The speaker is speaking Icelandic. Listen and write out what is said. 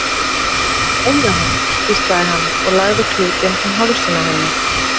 Þú mátt eiga hann hvíslaði hann og lagði klútinn um hálsinn á henni.